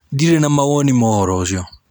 Ndirĩ na mawoni ma ũhoro ũcio.